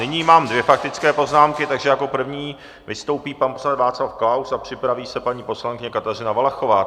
Nyní mám dvě faktické poznámky, takže jako první vystoupí pan poslanec Václav Klaus a připraví se paní poslankyně Kateřina Valachová.